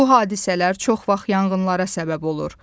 Bu hadisələr çox vaxt yanğınlara səbəb olur.